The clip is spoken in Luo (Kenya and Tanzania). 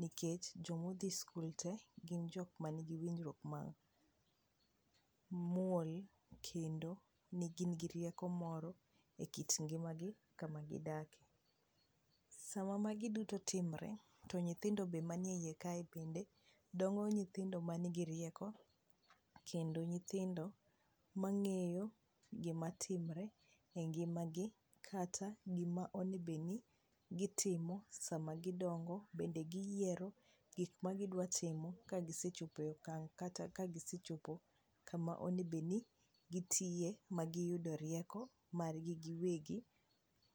nikech nyithind skul te gin jok man gi winjruok mamuol kendo gin gi rieko moro e kit ngima gi kama gi dake, sama magi duto timore to nyithindo be manie iye kae bende dongo nyithindo man gi rieko kendo nyithindo mang'eyo gima timre e ngima gi kata gima onego bed ni gitimo sama gidongo ,bende gi yiero gik ma gidua timo ka gisechopo e okang kata ka gisechopo kama onego be ni gitiye magi yude rieko mar gi giwegi.